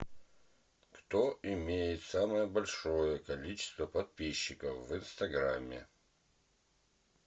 кто имеет самое большое количество подписчиков в инстаграме